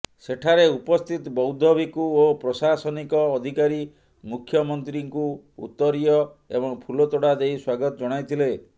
ସେଠାରେ ଉପସ୍ଥିତ ବୌଦ୍ଧ ଭିକ୍ଷୁ ଓ ପ୍ରଶାସନିକ ଅଧିକାରୀ ମୁଖ୍ୟମନ୍ତ୍ରୀଙ୍କୁ ଉତ୍ତରୀୟ ଏବଂ ଫୁଲତୋଡ଼ା ଦେଇ ସ୍ୱାଗତ ଜଣାଇଥିଲେ